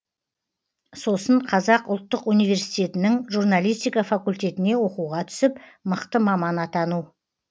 сосын қазақ ұлттық университетінің журналистика факультетіне оқуға түсіп мықты маман атану